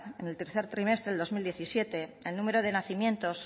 en el tercer trimestre del dos mil diecisiete el número de nacimientos